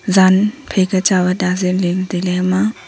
jan phaika chawat ajey ley tailey hama..